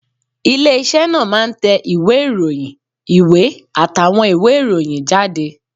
Ilé iṣẹ́ náà máa ń tẹ ìwé ìròyìn, ìwé àtàwọn ìwé ìròyìn jáde